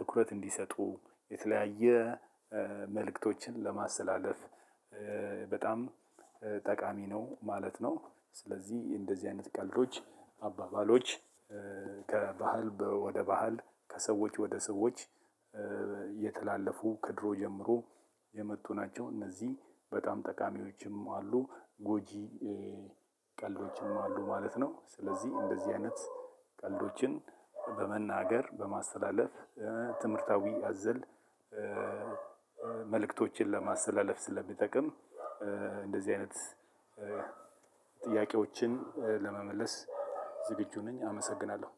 ትኩረት እንዲሰጡ የተለያየ መልእክቶችን ለማስተላለፍ በጣም ጠቃሚ ነው ማለት ነው። ስለዚህ እንደዚህ አይነት ቀልዶች አባባሎች ከባህል በ ወደ ባህል ከሰዎች ወደ ሰዎች እየተላለፉ ከድሮ ጀምሮ የመጡ ናቸው። እነዚህ በጣም ጠቃሚዎችም አሉ ጎጂ ቀልዶችም አሉ ማለት ነው። ስለዚህ እንደዚህ አይነት ቀልዶችን በመናገር በማስተላለፍ ትምህርታዊ አዘል መልእክቶችን ለማስተላለፍ ስለሚጠቅም። እንደዚህ አይነት ጥያቄዎችን ለመመለስ ዝግጁ ነኝ አመሰግናለሁ።